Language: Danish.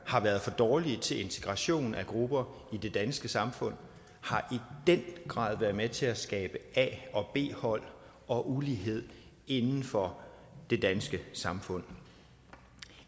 har været for dårlige til integration af grupper i det danske samfund har i den grad været med til at skabe a og b hold og ulighed inden for det danske samfund